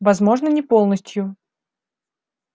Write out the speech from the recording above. возможно не полностью